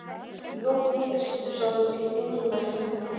í lok júlí sýndu sovétríkin engin merki um uppgjöf